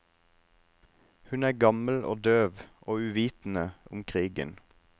Hun er gammel og døv, og uvitende om krigen.